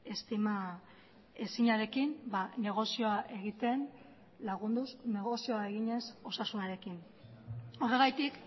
estima ezinarekin negozioa egiten lagunduz negozioa eginez osasunarekin horregatik